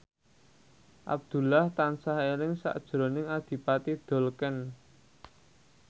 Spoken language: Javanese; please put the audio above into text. Abdullah tansah eling sakjroning Adipati Dolken